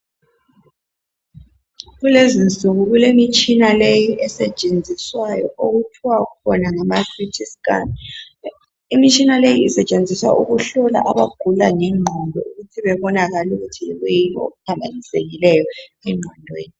Kulezi insuku kulemitshina le esetshenziswayo okuthiwa khona ngama CT Scan. Imitshina leyi isetshenziswa ukuhlola abagula ngengqondo ukuthi bebonakale ukuthi yikwiyini okuphamba nisekileyo engqondweni.